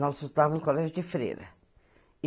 Nós estudávamos no colégio de Freira.